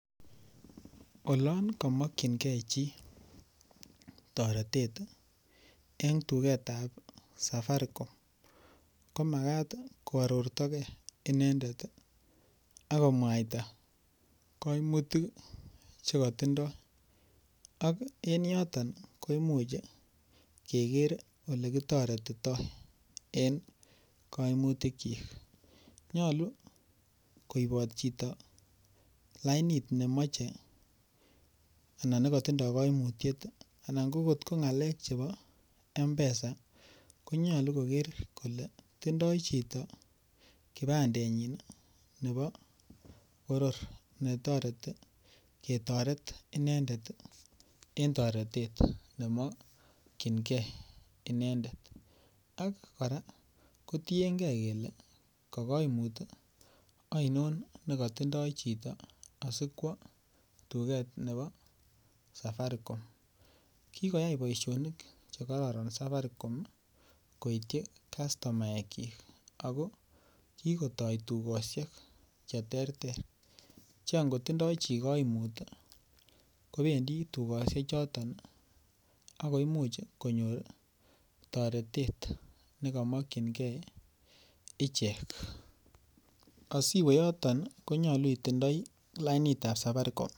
oloon komokyingee chi toretet en tugeet ab safaricom, komagaat koartogee inendet iih ak komwaita koimutik iih chegotindoo ak en yoton komuch kegeer elekitoretitoo en koimutik kyiik, nyolu koiboot chito lainit nemoche anan negotindoo koimutyeet iih anan ngo kot ngaleek chebo mpesa ko nyolu kogeer kole tindoo chito kipandenyiin iih nebo boror netoreti ketoret inendet iih en toretet nemokyingee inendet, ak koraa kotiyengee kele kogoimuut iih ainon negotindo chito asikwo tugeet nebo safaricom, kigoyai boishonik chegororon safaricom iih koityi kastomaeek kyiik ago kigotoo tugoshek cheterter, che angotindoo chi koimut iih kobendii tugoshek choton ak koimuch konyoor toretet negomokyingee ichek, asiwe yoton iih konyolu itindoi lainiit ab safaricom.